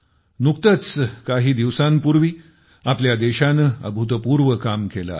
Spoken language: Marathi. नुकतेच काही दिवसांपूर्वी आपल्या देशाने अभूतपूर्व काम केले आहे